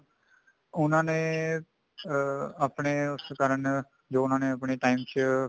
ਉਹਨਾ ਨੇ ਅਮ ਆਪਣੇ ਉਸ ਕਾਰਨ ਜੋ ਉਹਨਾ ਨੇ ਆਪਣੇ time ਚ